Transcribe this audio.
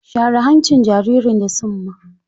Share hancin jaririrn da tsumma.